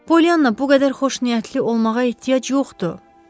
Polyanna, bu qədər xoşniyyətli olmağa ehtiyac yoxdur.